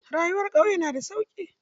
Rayuwar ƙauye na da sauki.